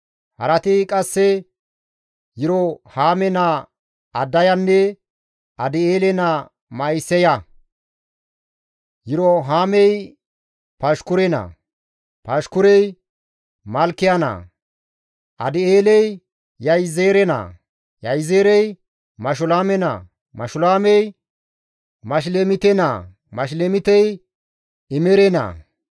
Harati qasse Yirohaame naa Adayanne Adi7eele naa Ma7isaya; Yirohaamey Pashkure naa; Pashkurey Malkiya naa. Adi7eeley Yahizeere naa; Yahizeerey Mashulaame naa; Mashulaamey Mashilemite naa; Mashilemitey Imere naa.